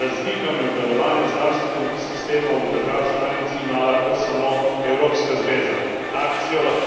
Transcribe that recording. Pregled nad razlikami v delovanju zdravstvenih sistemov držav članic ima lahko samo Evropska zveza.